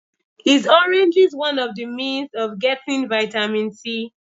Is oranges one of the means of getting vitamin C?